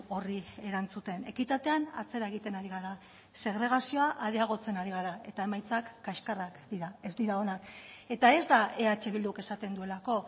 horri erantzuten ekitatean atzera egiten ari gara segregazioa areagotzen ari gara eta emaitzak kaxkarrak dira ez dira onak eta ez da eh bilduk esaten duelako